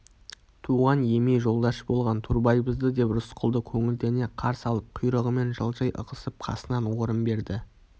туған еми жолдаш болған турбайбызбы деп рысқұлды көңілдене қарсы алып құйрығымен жылжи ығысып қасынан орын берді